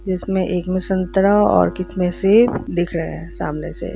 जिसमें एक में संतरा और किसी में सेब दिख रहे है सामने से।